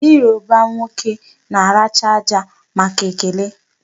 Ndị Yoruba nwoke na-aracha aja màkà ekele.